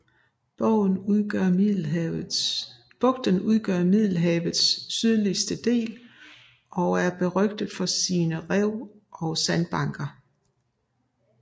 Bugten udgør middelhavets sydligste del og er berygtet for sine rev og sandbanker